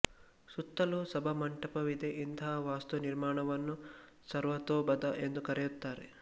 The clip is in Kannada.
ಸುತ್ತಲೂ ಸಭಾಮಂಟಪವಿದೆ ಇಂತಹ ವಾಸ್ತು ನಿರ್ಮಾಣಗಳನ್ನು ಸರ್ವತೋಭದ ಎಂದು ಕರೆಯುತ್ತಾರೆ